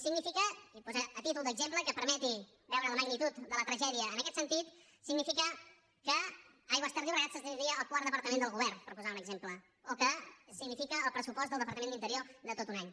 significa i posaré a títol d’exemple que permeti veure la magnitud de la tragèdia en aquest sentit que aigües ter llobregat esdevindria el quart departament del govern per posar un exemple o que significa el pressupost del departament d’interior de tot un any